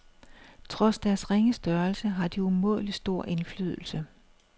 Trods deres ringe størrelse har de umådelig stor indflydelse.